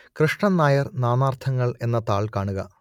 കൃഷ്ണൻ നായർ നാനാർത്ഥങ്ങൾ എന്ന താൾ കാണുക